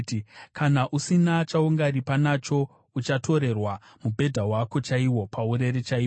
kana usina chaungaripa nacho, uchatorerwa mubhedha wako chaiwo, paurere chaipo.